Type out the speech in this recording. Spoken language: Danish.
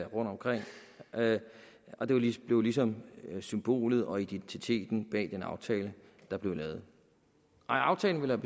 rundtomkring og det blev ligesom symbolet og identiteten bag den aftale der blev lavet aftalen ville